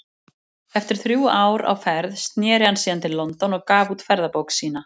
Eftir þrjú ár á ferð sneri hann síðan til London og gaf út ferðabók sína.